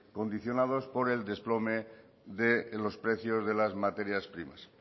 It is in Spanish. condicionados por el desplome de los precios de las materias primas